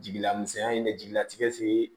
Jigila misɛnya in de jigilatigɛ